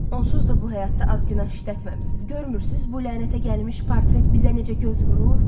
Onsuz da bu həyatda az günah işlətməmisiz, görmürsüz bu lənətə gəlmiş portret bizə necə göz vurur?